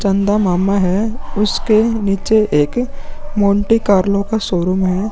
चंदा मामा है उसके नीचे एक मोंटी कार्लो का शोरूम है।